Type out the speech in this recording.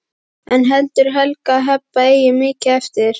En heldur Helga að Heba eigi mikið eftir?